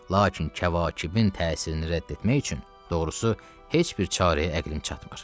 Lakin kəvakibin təsirini rədd etmək üçün, doğrusu, heç bir çarəyə əqlim çatmır.